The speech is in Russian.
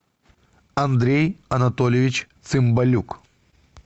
андрей анатольевич цымбалюк